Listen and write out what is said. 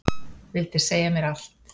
Vildi segja mér allt.